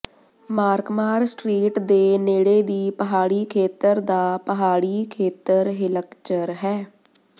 ਮਾਰਕਮਾਰ street ਦੇ ਨੇੜੇ ਦੀ ਪਹਾੜੀ ਖੇਤਰ ਦਾ ਪਹਾੜੀ ਖੇਤਰ ਹਿਲਕਚਰ ਹੈ